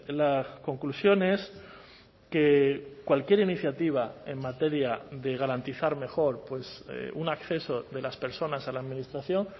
la conclusión es que cualquier iniciativa en materia de garantizar mejor un acceso de las personas a la administración